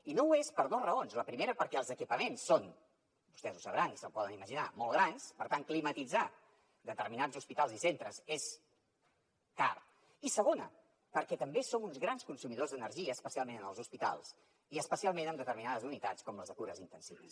i no ho és per dos raons la primera perquè els equipaments són vostès ho deuen saber i s’ho poden imaginar molt grans per tant climatitzar determinats hospitals i centres és car i segona perquè també som uns grans consumidors d’energia especialment en els hospitals i especialment en determinades unitats com les de cures intensives